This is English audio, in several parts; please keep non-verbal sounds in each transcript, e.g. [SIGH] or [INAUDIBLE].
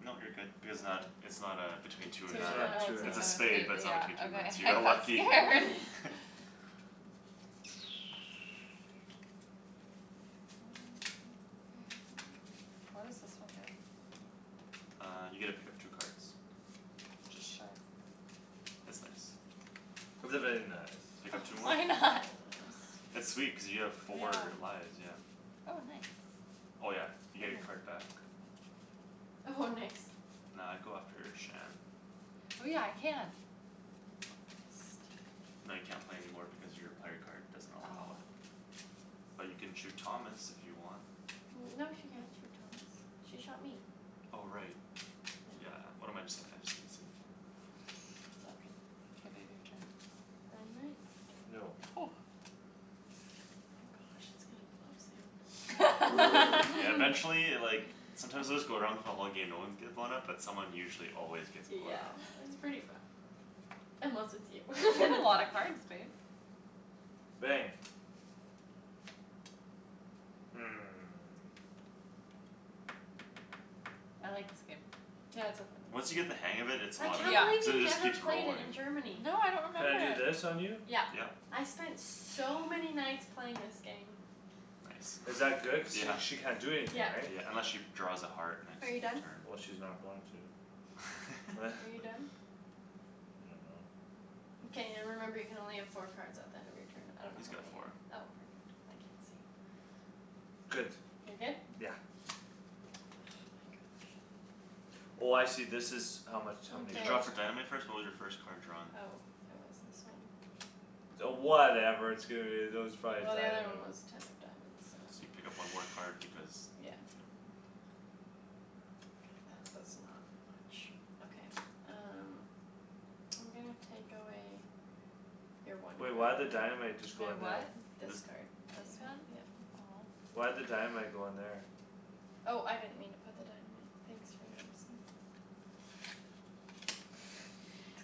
Nope, you're good. Because it's not, Mhm. it's not uh, between two or Two It's or nine. not Oh, two or it's It's nine. a nine. a have spade, but it's a, yeah, not between two or nine. okay. So you I got got lucky. scared. [LAUGHS] [LAUGHS] [LAUGHS] [NOISE] What does this one do? Uh, you get to pick up two cards. It's just, Sure. it's nice. It's a Okay. very nice. Pick up two [NOISE] more. Why not? [LAUGHS] [INAUDIBLE] [NOISE] It's sweet cuz you have Yeah. four lives, yeah. Oh, nice. Oh, yeah, you get your Ooh. card back. Oh, nice. Nah, I'd go after Shan. Oh, yeah, I can. [INAUDIBLE] No, you can't play any more because your player card doesn't allow Oh. it. [NOISE] But you can shoot Thomas, if you want. No, she can't shoot Thomas. She shot me. Oh, right. Yeah. Yeah, what am I j- saying, I just didn't see anything. It's all good. K, babe, your Yeah. turn. Dynamite. No. [NOISE] Oh gosh, it's gonna blow soon. Yeah, [LAUGHS] [LAUGHS] eventually, like Sometimes it would just go around for the whole game, no ones get blown up, but someone usually always gets blown Yeah, up. it's pretty fun. [NOISE] Unless it's you. [LAUGHS] You have Then a it's lot of cards, babe. [NOISE] Bang. Hmm. I like this game. Yeah, it's so fun. Once you get the hang of it, it's a I lot of can't Yeah. fun. believe Cuz it you just never keeps played it in rolling. Germany. No, I don't Can remember I do it. this on you? Yeah. Yep. I spent so many nights playing this game. Nice. Is that good, cuz [LAUGHS] sh- she can't do Yeah. [NOISE] anything, Yeah. right? Yeah, unless she draws a heart next Are you done? turn. Well, she's not going to. Are you [LAUGHS] done? [LAUGHS] I dunno. Mkay. [NOISE] Remember you can only have four cards at the end of your turn. I don't know He's how got many you, four. oh, perfect. I can't see. Good. You're good? [NOISE] Yeah. Oh my gosh. Oh, I see, this is how much how many You Okay. draw cards. for dynamite first? What was your first card drawn? Oh, it was this one. Oh, whatever, [INAUDIBLE] that was probably Well, the other one dynamite. was ten of diamonds, So you so. pick up one more card because, [NOISE] Yeah. yeah. [NOISE] That does not much. Okay, um. [NOISE] I'm gonna take away Your one Wait, why'd the dynamite [INAUDIBLE] just My go in there? what? [NOISE] This This card. This You have, one? yep. Aw. Why'd the dynamite go in there? Oh, I didn't mean to put the dynamite. Thanks for noticing.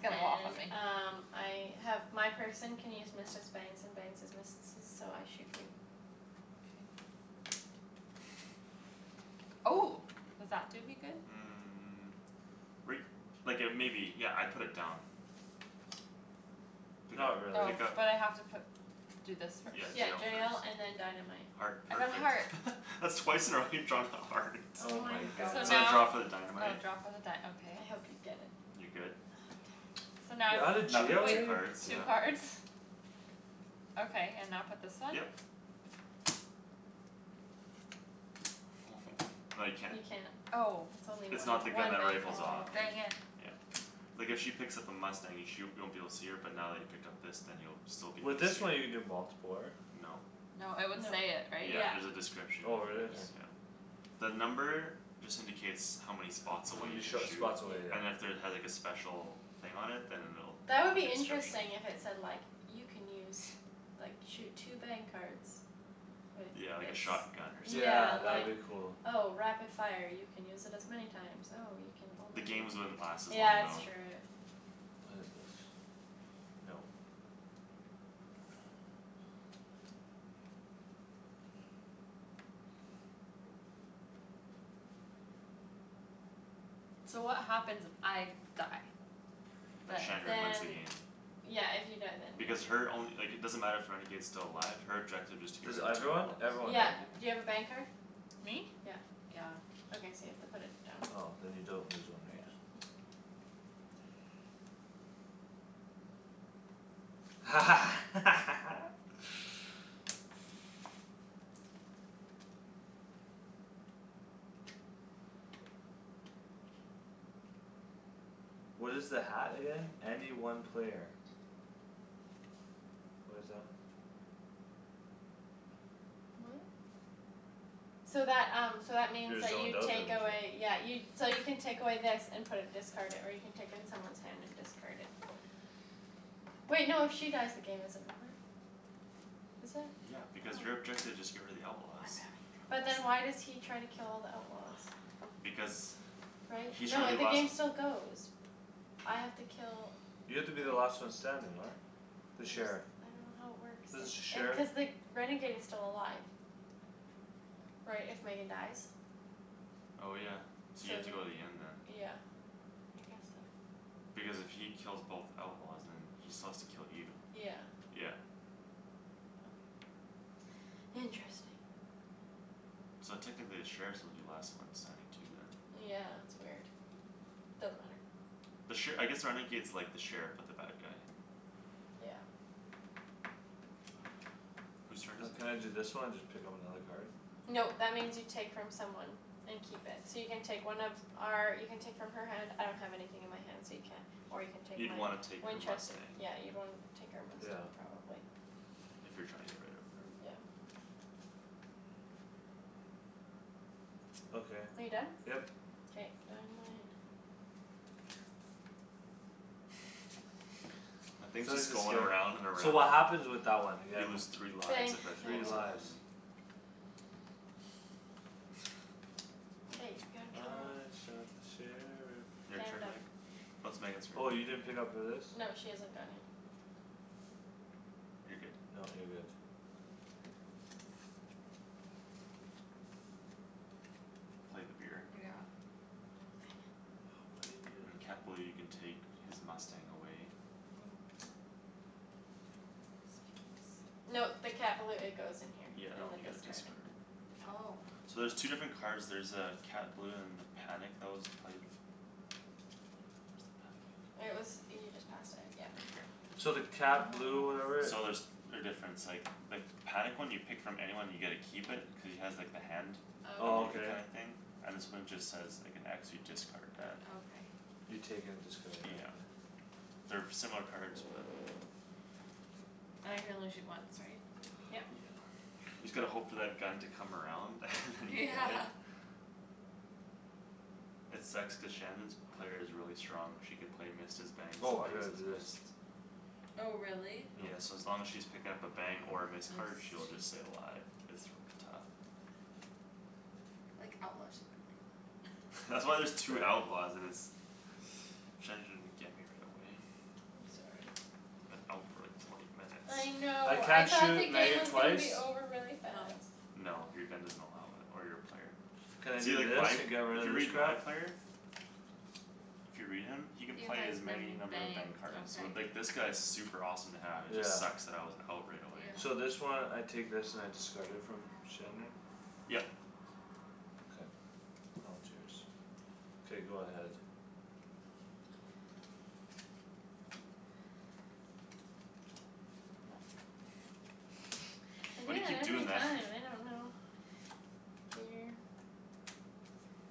It's gonna go off on And me. um, I have My person can use missed as bangs and bangs as missed-esses, so I shoot you. K. [NOISE] [NOISE] Oh. Does that do me good? Mm, [NOISE] right, like uh maybe. Yeah, I'd put it down. Pick Not up, Oh, really. pick up. but I have to put Do this Mm, first. Yeah, jail yeah [INAUDIBLE] first. and then dynamite. Heart, I got perfect. heart. [LAUGHS] That's twice in a row you've drawn a heart. Oh Oh my my [LAUGHS] So goodness. gosh. So I draw now for the Oh, dynamite. draw for the dy- okay. I hope you get it. You good? Ah, damn it. So now You're outta Now pick jail if, up two wait, already? cards, yeah. two Poop. cards? Okay, and now put this one? Yep. [NOISE] No, you can't. You can't. Oh. It's only It's one, not the gun one that bang per rifles Aw, off. turn, dang yeah. it. Yeah. [NOISE] Like if she picks up a mustang, you sh- you won't be able to see her, but now that he picked up this then you'll still be able to With this see her. one, you can do multipler. No. No, it would No. say it, right? Yeah, Yeah. there's a description Oh, if there really? is, Yep. Okay. yeah. The number just indicates how many H- spots how away you many can sh- shoot. spots away, Yeah. And if yeah. there had like a special thing on it, then it'll, That would like be a description. interesting, if it said like You can use, [NOISE] like, shoot two bang cards With Yeah, like a this. shotgun or something, Yeah, Yeah, that like, would be yeah. cool. oh, rapid fire, you can use it as many times. Oh, you can The only games wouldn't last as long, Yeah, it's though. true, it [NOISE] What is this? Nope. [NOISE] So what happens if I die? Then Then Shandryn wins the Then game. Yeah, if you die then. Because [NOISE] her only, like, it doesn't matter if renegade's still alive, her objective is to get Cuz rid of two everyone? outlaws. Everyone, Yeah, right? [NOISE] do you have a bang card? Me? Yeah. Yeah. Okay, so you have to put it down. Oh, then you don't lose one these. No. [LAUGHS] [LAUGHS] [NOISE] What is the hat again? Any one player. What is that? What? So that, um, so that means Your you take away, [INAUDIBLE] yeah, you [NOISE] So you can take away this and put it discarded, or you can take in someone's hand and discard it. Wait, no, if she dies, the game isn't over. Is it? Yeah, because your Oh. objective is just get rid of the outlaws. I'm having But then troubles. why does he try to kill all the outlaws? [NOISE] Because Right? He's No, trying to it, be the last game still goes. I have to kill You have to be the last [NOISE] one standing, right? I'm The sheriff. s- I don't know how it works, This the sh- if uh sheriff? cuz the renegade is still alive. Right, if Megan dies? Oh, yeah, so you have Same, to go to the end then. yeah. I guess so. Because if he kills both outlaws, then he still has to kill you. Yeah. Yeah. Okay. [NOISE] Interesting. So technically the sheriffs will be the last one standing too, then. Yeah, it's weird. Doesn't matter. The sher- I guess the renegade's like the sheriff, but the bad guy. Yeah. [NOISE] Whose turn is Can I it? do this one and just pick up another card? Nope, that means you take from someone. And keep it. [NOISE] So you can take one of our, you can take from her hand, I don't have anything in my hand so you can't. Or you can take You'd my wanna take her Winchester, mustang. yeah, you'd wanna take our Yeah. mustang probably. If you're trying to get rid of her. Mm, yeah. [NOISE] Okay. Are you done? Yep. K, dynamite. [NOISE] [LAUGHS] That [INAUDIBLE] thing's just is going scared. around and So around. what happens with that one again? You lose three lives Bang, if it Three blows Megan. up on lives. you. [LAUGHS] Hey, we gotta kill her off. I shot the sheriff. Your K, I'm turn, done. Meg? No, it's Megan's turn. Oh, you didn't pick up for this? No, she hasn't gone yet. You're good. No, you're good. Play the beer. Yeah. Dang it. Why you do And Cat that? Balou, you can take his mustang away. Ooh. Yes, please. No, the Cat Balou, it goes in here. Yeah, that In one the you gotta discard. discard. Oh. [NOISE] So there's two different Yeah. cards, there's uh Cat Balou and the panic that was played. Where's the panic? It was, you just passed it, yeah. Right here. [NOISE] So the cat blue Oh. or whatever So there's, they're different; it's like the panic one, you pick from anyone and you get to keep it, cuz he has like the hand Oh, emoji okay. kinda Okay. thing? And this one just says, like, an x, you discard What? that. Okay. You take it and discard it, yeah Yeah. okay. They're similar cards, but. [NOISE] I can only shoot once, right? [NOISE] Yeah. Yep. [NOISE] You just gotta hope for that gun to come around [LAUGHS] and then you Yeah. get it. [NOISE] [LAUGHS] It sucks cuz Shandryn's player is really strong, she can play missed as bangs and Woah, I bangs gotta as do this. missed. [NOISE] Oh, really? Yeah, Mm. so as long as she's picking up a bang or a Mm. missed card, Miss. she'll just stay alive. It's r- tough. Like, outlaw should be like [LAUGHS] That's that. [LAUGHS] why there's two Bang. outlaws and it's, [NOISE] Shandryn get me right away. I'm sorry. I've been out [NOISE] for like, twenty I minutes. I know, I can't thought the shoot game Megan was [LAUGHS] gonna twice? be over really No. fast. No, your gun doesn't allow it. Or your player. Can I [NOISE] See, do like, this my, and get if rid you of this read my crap? player If you read him, he can You play has as many many number of bang bangs. cards, so, Okay. like, this guy's super awesome to have; it Yeah. just sucks that I was out right away. Yeah. So this one, I take this and I discard it from Shandryn? Yep. K. Now it's yours. K, go ahead. [NOISE] [NOISE] [NOISE] [NOISE] Nope. [LAUGHS] I [NOISE] do Why do you that keep every doing that? [LAUGHS] time, I don't know. [NOISE] Weird.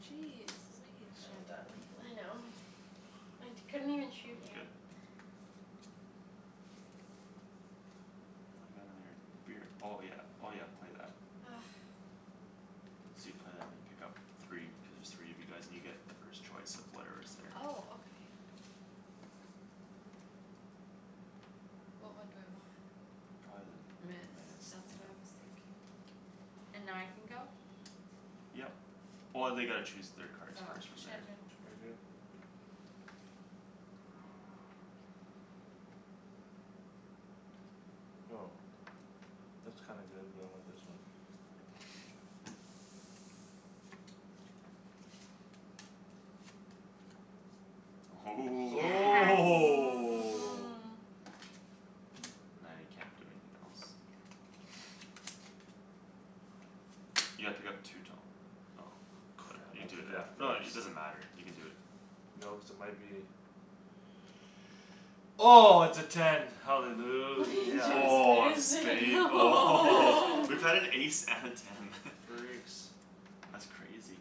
Jeez, believe, [INAUDIBLE] I'm Shandryn. done. I know. I t- [NOISE] couldn't even shoot Y- you. good. [NOISE] And I got another beer, oh yeah, oh yeah, play that. Argh. So you play that and you pick up three, cuz there's three of you guys and you get the first choice of whatever's there. Oh, okay. What one do I want? Probably the Miss, missed, that's yeah. what I was thinking. And now I can go? Yep. Oh, they gotta choose their cards Oh. first from there. Shandryn. Target. Go. That's kinda good but I want this one. [NOISE] [NOISE] Ooh [LAUGHS] [NOISE] Yes. Oh! [LAUGHS] Now you can't do anything else. [NOISE] You gotta pick up two, Tom, oh. Good, Crap, I you have to do do that that. No, first. it, it doesn't matter; you can do it. No, cuz it might be [NOISE] [NOISE] Oh, it's a ten, We hallelujah. Oh, a just missed it! spade? Oh. Woah! [LAUGHS] We've [LAUGHS] had an [LAUGHS] ace and a ten. [LAUGHS] Freaks. That's crazy.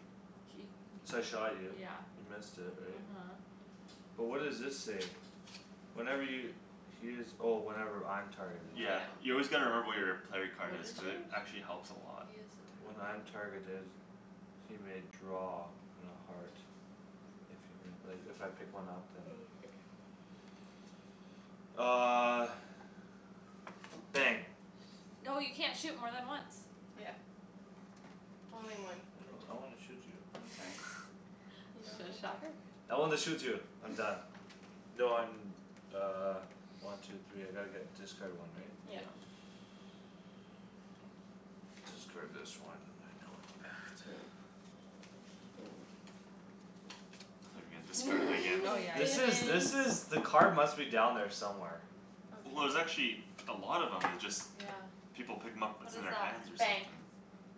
So K, I shot you, [INAUDIBLE] yeah, you missed it, right? uh-huh. [NOISE] But what does this say? Whenever y- he is, oh, whenever I'm targeted. Yeah, Yeah. you always gotta remember what your player What card is, is cuz it yours? actually helps a lot. He is When I'm a target of targeted He may draw on a heart. [NOISE] If you mi- like, if I pick one up, then. Okay. [NOISE] Uh Bang. No, you can't shoot more than once. Yeah. Only one [NOISE] I per don't, I wanna turn. shoot you. I'm sorry. [LAUGHS] You don't So, get to. shot her. [NOISE] I wanna shoot you. I'm done. [LAUGHS] No, I'm uh, one, two, three, I gotta get, discard one, right? Yeah. Yeah. [NOISE] Discard this one, I know it's bad. [NOISE] I thought you were gonna discard it again. Oh, [LAUGHS] yeah, This is, this is, Didn't! yeah [INAUDIBLE] the card must be down there somewhere. Well, there's Okay. actually a lot of 'em, it's just Yeah. people pick 'em up, What it's in is their that? hands or Bang. something.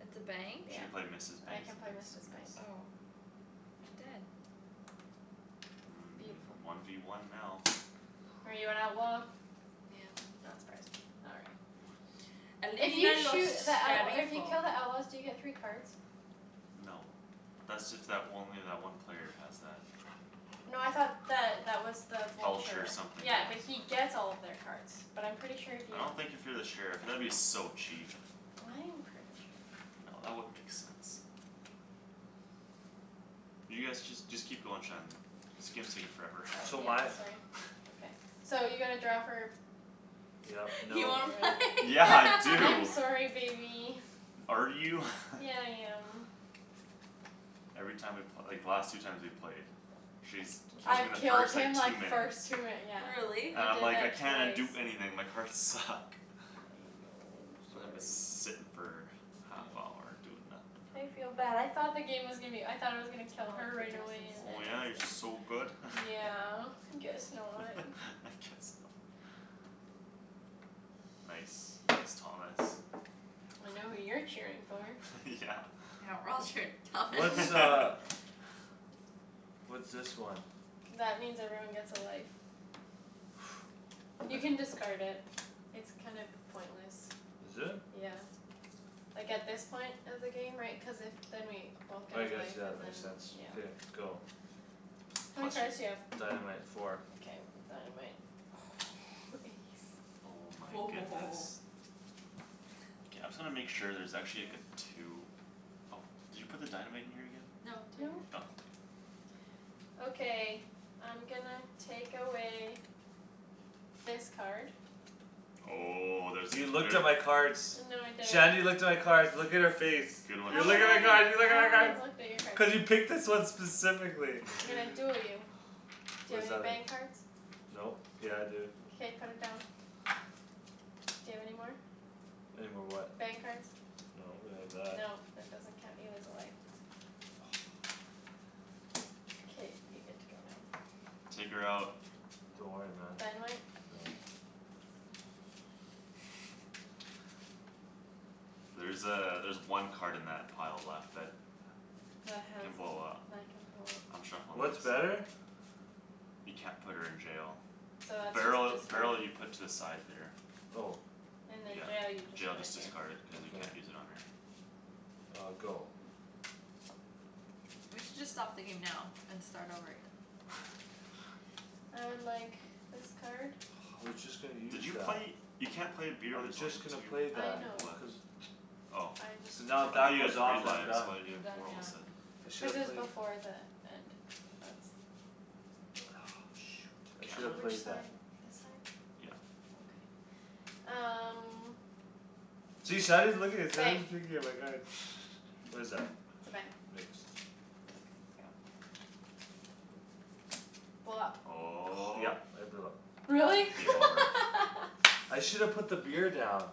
It's a bang? She can Yeah. play missed as I bangs can and play bangs missed as as bangs. missed. Oh. I'm dead. Mm, Beautiful. one v one now. Are you an outlaw? Yeah. Not surprised. All right. [NOISE] If you [INAUDIBLE] los shoot the outlaw, if you sheriffo. kill the outlaws, do you get three cards? No. How Thats is if that w- it? only that one player has that. No, I thought that that was the Vulture vulture. something, Yeah, yeah. but he gets all of their cards. But I'm pretty sure if I you don't think if you're the sheriff, that would be so cheap. [NOISE] I am pretty sure. No, that wouldn't make sense. You guys, just, just keep going, Shan. This game's taking forever. Oh, So [LAUGHS] yeah, my sorry, [NOISE] okay. [LAUGHS] So you gotta draw for? Yep, You No, nope. wanna play? right? Yeah. I [LAUGHS] I'm do! sorry, baby. Are you? [LAUGHS] Yeah, I am. Every time we pl- like, the last two times we played She's t- [NOISE] kills me in I've the killed first, like, him two like minutes. first two [INAUDIBLE] yeah. Really? And I I'm did like, "I that cannot twice. do anything; my cards suck." I know, I'm sorry. [INAUDIBLE] sittin' for half I hour, doing I nothing. feel bad; I thought the game was gonna be o- I thought I was gonna kill her [INAUDIBLE] for right away dresses. and then Oh, I yeah, you're was so g- [NOISE] good? [LAUGHS] Yeah, guess not. [NOISE] [LAUGHS] I guess not. [NOISE] Nice. Nice, Thomas. I know who you're [LAUGHS] cheering for. [LAUGHS] Yeah. Yeah, we're all cheering for Thomas. What's [LAUGHS] uh [LAUGHS] [LAUGHS] [NOISE] [NOISE] What's this one? That means everyone gets a life. [NOISE] You can [LAUGHS] discard it. It's kind of pointless. Is it? Yeah. Like, at this point of the game, right, cuz if Then we both get I a guess, life yeah, that and then, makes sense. yeah. Beer, go. How many Plus cards do you your have? Dynamite, four. Mkay, dynamite. Oh, ace. Oh my goodness. Woah. K, I'm [NOISE] just gonna make sure there's actually, like, a [INAUDIBLE] two. Oh, did you put the dynamite in here again? No, it's right No. Oh, k. here. [NOISE] Okay, I'm gonna take away this card. Oh, there's a You cl- looked there at my cards. No, I didn't. Shandryn looked at my cards; look at her face. Good one, You How look would at I, my card, Shan. you look how at my would I have cards! looked at your cards? Cuz you picked this one specifically I'm gonna [LAUGHS] duel [LAUGHS] you. Do What you have does any that mean? bang cards? Nope. Yeah I do [NOISE] K, put it down. [NOISE] Do you have any more? Any more what? Bang cards. No, but I have that. No, that doesn't count; you lose a life. K, you get to go now. Take her out. Don't worry, man. Dynamite? No. [LAUGHS] [NOISE] There's uh, there's one card in that pile left that That has can d- blow up. that can blow I'm up. shuffling What's this. better? You can't put her in jail. So that's Barrel, just discard. barrel, you put to the side there. Oh. And then jail you Yeah. just Jail, put just here. discard it, cuz you Okay. can't use it on her. Uh, go. [NOISE] We should just stop the game now and start over again. [LAUGHS] I would like this card. [NOISE] I was just gonna Did use you that. play? You can't play a beer I when was there's only just gonna two play I that. know. people left. Cuz Oh. I just Cuz now if I that thought took you had goes three off, then I'm lives, done. why do you You're have done, four all of yeah. a Mm. sudden? [NOISE] I should Cuz it [NOISE] have was played before the end of [NOISE] I shoulda Which played that. side, [INAUDIBLE] this side? Yeah. Okay. [NOISE] Um See, Shandryn's looking, Bang. Shandryn's peeking at my cards. [LAUGHS] What is that? It's a bang. Mixed. Okay, go. Blow up. Oh. Yep, I blew up. Really? Game Yeah. over. I [LAUGHS] shoulda put the beer down. [NOISE]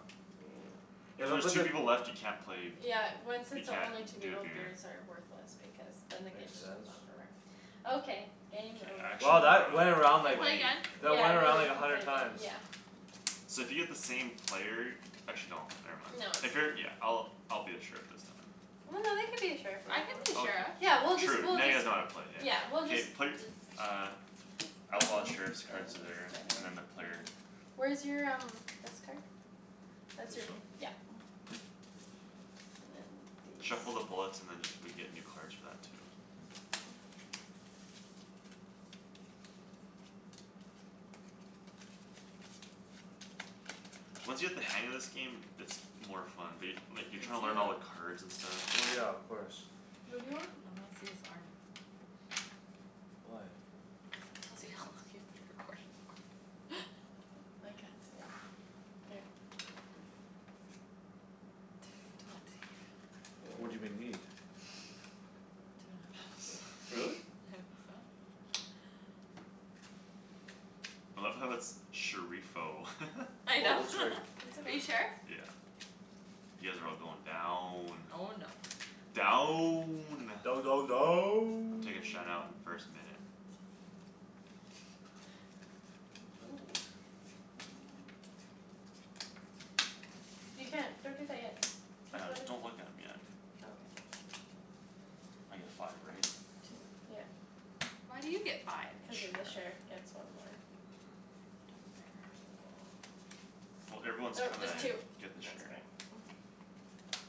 Yeah, If when I there's just two [INAUDIBLE] people left, you can't play b- Yeah, when, since You there can't only two d- do a people, beer. beers are worthless because then the game Makes just sense. on forever. [NOISE] Okay, K, game I over. actually Wow, wanna that went around, Can we like, play play. again? that Yeah, went around, we'll, we like, a can play hundred again, times. yeah. [NOISE] So if you get the same player Actually no, never mind. No, it's If you're, yeah, fine. I'll, I'll be the sheriff this time. Well, no, they could be a sheriff I could be a Okay. sheriff. [INAUDIBLE] Yeah, we'll just, Sure, true. we'll Now you just guys know how to play, yeah. Yeah, we'll just K, play, d- uh [NOISE] Outlaws, sheriffs cards there, [NOISE] and then the player [INAUDIBLE] Where's your um, this card? That's This your, one? yeah. [NOISE] [NOISE] And then Shuffle the these. bullets and then just, we get new cards for that too. [NOISE] Once you get the hang of this game, it's more fun. But y- like, you're trying to learn all the [INAUDIBLE] cards and stuff. Well, yeah, of course. What do you want? I wanna see his arm. Why? To see how long you've been recording for. [LAUGHS] [NOISE] I can't see it [NOISE] here. Two twenty. What do they need? Two Really? and [LAUGHS] a half. [INAUDIBLE] I love how it's "sheriffo." [LAUGHS] I Wait, know. what's [LAUGHS] her? It's Are you okay. [NOISE] sheriff? Yeah. You guys are all going down. Oh, no. Down! Down, down, I'm down. taking Shan out in the first minute. [LAUGHS] Ooh. You can't, don't drink that yet. I Cuz know, what if don't look at 'em yet. Okay. I get five, right? Two, yep. Why do you get five? The Cuz [INAUDIBLE] the sheriff sheriff. gets one more. No fair. [NOISE] Well, everyone's Oh, trying just two. to get the That's sheriff. better. [NOISE]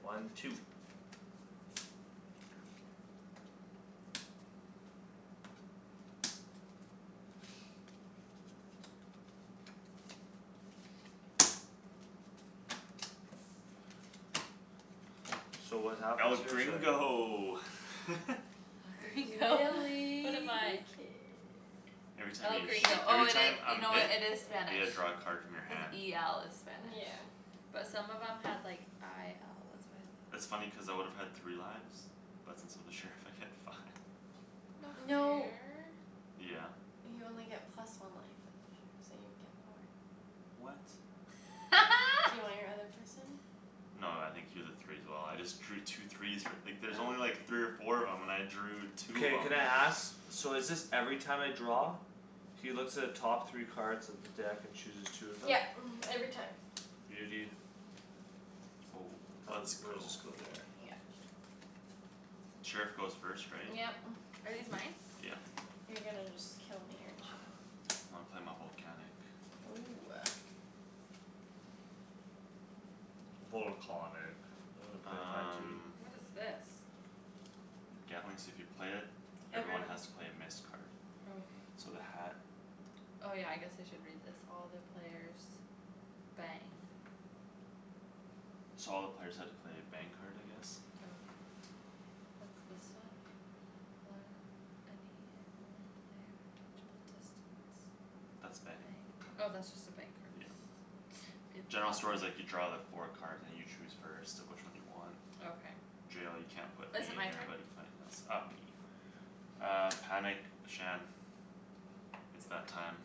One, two. So what happens El here? Sorry. gringo! [LAUGHS] El Gringo. [LAUGHS] What Willy am the I? kid. Every time El you shoo- Gringo, oh every it time i- you I'm know what, hit it is I Yeah. Spanish. get to draw a card from your Cuz hand. e l is spanish. Yeah. But some of them had, like, i l, That's that's why I thought funny cuz I would have had three lives. But since I'm the sheriff, I get five. No [NOISE] No. fair. Yeah. You only get plus one life as a sheriff, so you get four. What? [LAUGHS] Do you want your other person? No, I think he was a three as well; I just drew two threes f- like, there's only like Oh. three or four of 'em and I drew two of Mkay, 'em. can I [NOISE] ask? [LAUGHS] So is this every time I draw? He looks at the top three cards of the deck and chooses two of them? Yep, mhm, every time. Beauty. Oh, How is let's it, where does go. this go there? Yep. Sheriff goes first, right? Yep. [NOISE] Are these mine? [LAUGHS] Yeah. You're gonna just kill me, aren't you? When I play my volcanic. Ooh. Volcahnic. I wanna play mine too. Um What is this? Gatling, so if you play it, everyone Everyone. has to play a missed card. Okay. So the hat Oh, yeah, I guess I should read this. All the players bang. So all the players have to play a bang card, I guess? Okay. What's this one? [INAUDIBLE] any one player of reachable distance. That's a bang Bang. Oh, card. that's just a bang card. Yeah. General store's like, [INAUDIBLE] you draw the four cards and you choose first of which one you want. Okay. Jail, you can't put me Is it in my there turn? but you can put anything else. Uh, me. Okay. [NOISE] Uh, panic, Shan. It's that time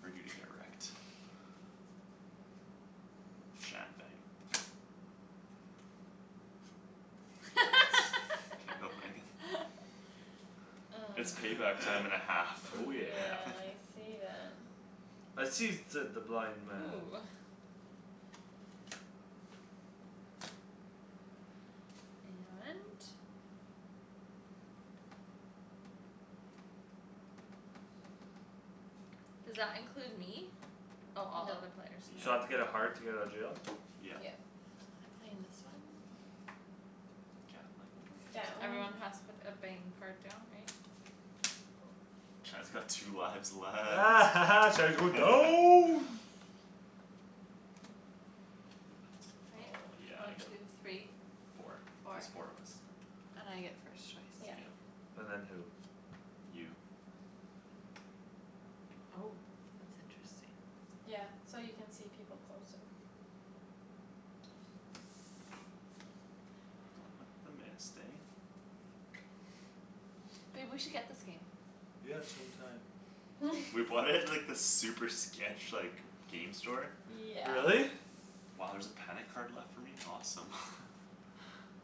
For you to get wrecked. [NOISE] Shan, bang. Get wrecked. K, go, Megan. [LAUGHS] [LAUGHS] It's Mm. payback time and a half. [LAUGHS] Oh, yeah. [LAUGHS] Yeah, I see that. I sees, said the blind man. Ooh. And Does that include me? Oh, all other Nope. players, So I have to Yeah. no. get a heart to get out of jail? Yeah. Yep. I'm playing this one. [NOISE] Gatling. [NOISE] Gatling. Everyone has to put a bang card down, right? Shan's got two lives [LAUGHS] left. Shan's going [LAUGHS] down. [NOISE] Right? Oh, yeah, I One, get two, three. Four. Four. There's four of us. And I get [NOISE] first choice, Yep. Yeah. right? And then who? You. Oh. That's interesting. Yeah. So you can see people closer. Not with the missed, eh? [NOISE] Babe, we should get this game. Yeah, some time. [NOISE] We [LAUGHS] bought it at, like, this super sketch, like, g- game store. Yeah. Really? Wow, there's a panic card left for me? Awesome. [LAUGHS] [NOISE]